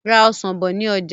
Ra Ọ̀sán bọ̀ ni ọjà!